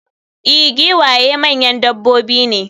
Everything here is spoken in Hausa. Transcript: i, giwaye manyan dabbobi ne